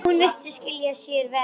Hún virðist skila sér verr.